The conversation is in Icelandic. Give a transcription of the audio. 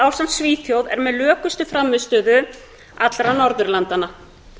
ásamt svíþjóð er með lökustu frammistöðu allra norðurlandanna